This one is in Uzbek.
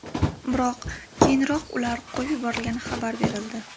Biroq keyinroq ular qo‘yib yuborilgani xabar berildi.